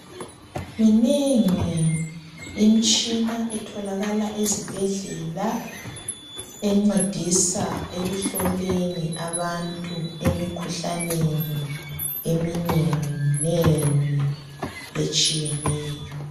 Minengi imitshina etholakala ezibhedlela encedisa ekuhloleni abantu emikhuhlaneni eminenginengi etshiyeneyo.